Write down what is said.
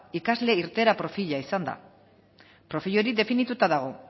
ikasle irteera profila izan da profil hori definituta dago